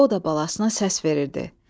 O da balasına səs verirdi.